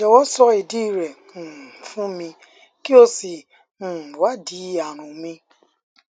jọwọ sọ ìdí rẹ um fún mi kí o sì um wádìí àrùn mi um